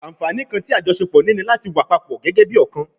Anfaani kan ti ajọṣepọ ni lati wa papọ gẹgẹbi ọkan